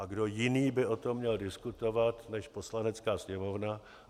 A kdo jiný by o tom měl diskutovat než Poslanecká sněmovna?